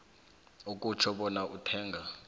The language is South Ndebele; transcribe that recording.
akutjho bona uthenga